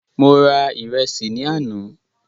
Mo ra ìrẹsì ní àná